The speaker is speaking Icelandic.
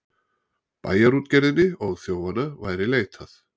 Bæjarútgerðinni og þjófanna væri leitað.